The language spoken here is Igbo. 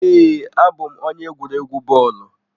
Ee, abụ m onye egwuregwu bọọlụ.